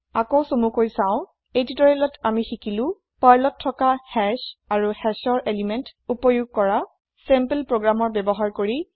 আকৌ চমুকৈ চাও এই তিউতৰিয়েলত আমি শিকিলো Perlত থকা হাশ আৰু Hashৰ এলিমেন্ত এক্সেচ কৰা চেম্পল প্ৰগ্ৰেমৰ ব্যৱহাৰ কৰি